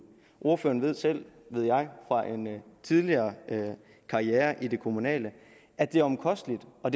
ordføreren ved selv ved jeg fra en tidligere karriere i det kommunale at det er omkostningstungt og